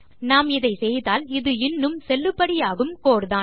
நாம் இதை செய்தால் இது இன்னும் செல்லுபடியாகும் கோட் தான்